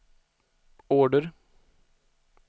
order